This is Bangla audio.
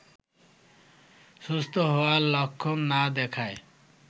সুস্থ হওয়ার লক্ষণ না দেখায়